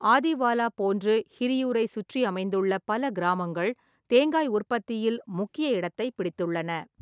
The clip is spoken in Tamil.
ஆதிவாலா போன்று ஹிரியூரைச் சுற்றி அமைந்துள்ள பல கிராமங்கள் தேங்காய் உற்பத்தியில் முக்கிய இடத்தைப் பிடித்துள்ளன.